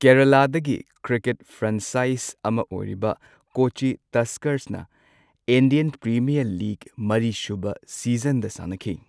ꯀꯦꯔꯂꯥꯗꯒꯤ cricket franchise ꯑꯃ ꯑꯣꯏꯔꯤꯕ ꯀꯣꯆꯤ ꯇꯁꯀꯔꯁꯅ ꯏꯟꯗꯤꯌꯟ ꯄ꯭ꯔꯤꯃꯤꯌꯔ ꯂꯤꯒ ꯃꯔꯤꯁꯨꯕ ꯁꯤꯖꯟꯗ ꯁꯥꯟꯅꯈꯤ꯫